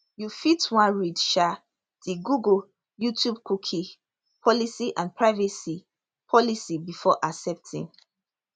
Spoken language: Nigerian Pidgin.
you fit wan read um di google youtubecookie policyandprivacy policybefore accepting